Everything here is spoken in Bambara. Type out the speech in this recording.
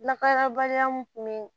Lakanabaliya min kun bɛ